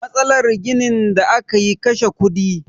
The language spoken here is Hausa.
Matsalar ginin da aka yi kashe kudi